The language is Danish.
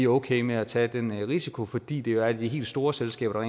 okay med at tage den risiko fordi det jo er de helt store selskaber